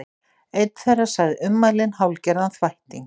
Einn þeirra sagði ummælin hálfgerðan þvætting